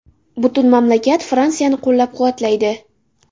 Butun mamlakat Fransiyani qo‘llab-quvvatlaydi.